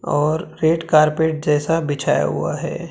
और red carpet जैसा बिछाया हुआ है।